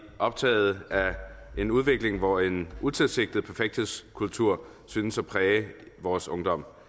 optaget af en udvikling hvor en utilsigtet perfekthedskultur synes at præge vores ungdom